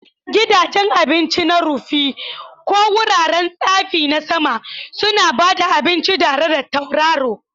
Gidajen abinci na rufi, ko wuraren tsafi na sama, suna ba da abinci tare da tauraro.